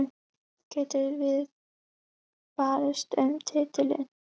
Getum við barist um titilinn?